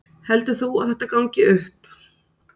Heldur þú að þetta gangi upp?